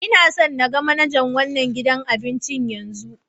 N'na so n gan manajan wanan gidan abincin yanzu!